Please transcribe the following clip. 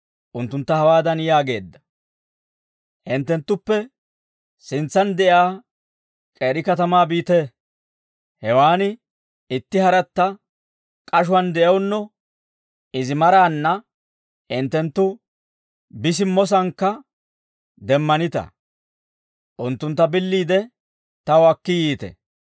unttuntta hawaadan yaageedda; «Hinttenttuppe sintsaan de'iyaa k'eeri katamaa biite; hewaan itti haratta k'ashuwaan de'ewunno izi maraanna hinttenttu bi simmo sankka demmanita; unttuntta billiide, taw akki yiite.